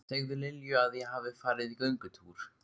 Segðu Lilju að ég hafi farið í göngutúr.